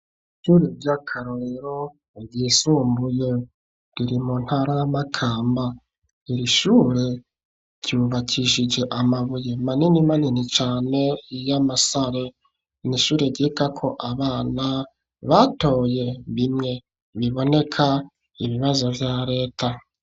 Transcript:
Ishure ry'akarorero ryisumbuye. Riri mu ntara ya Makamba. Iri shure ryubakishije amabuye manini manini cane y'amasare. Ni ishure ryigako abana batoye bimwe biboneka ibibazo vya reta.